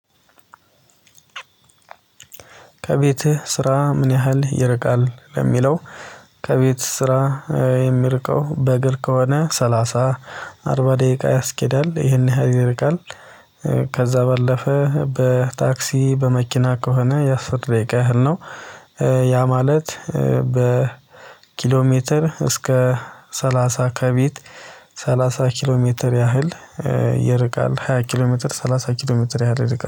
ከቤትህ ስራ ምን ያህል ይርቃል? ለሚለው ከቤት ስራ የሚርቀው በእግር ከሆነ ሰላሳ አርባ ደቂቃ ያስኬዳል ይሄን ያህል ይረቃል ከዛ ባለፈ በታክሲ በመኪና ከሆነ የአስር ደቂቃ ያህል ነው ማለት በኪሎ ሜትር እስከ ሰላሳ ከቤት ሰላሳ ኪሎ ሜትር ያህል ይርቃል ሃያ ኪሎ ሜትር ሰላሳ ኪሎ ሜትር ያህል ይርቃል